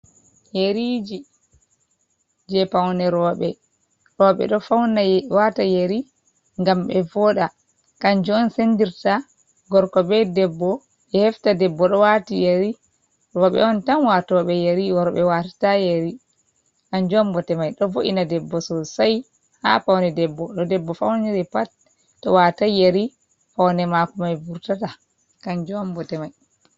Yeriji je paune roɓe do fauna wata yeri gam be voda, kanji on sendirta gorko be debbo be hefta debbo do wata yeri robe on tan watobe yeri worbe watata yeri hanjumbote mai do vo’ina debbo sosai ha paune debbo no debbo fauniri pat to watai yeri paunne mako mai vurtata kanjumbote mai.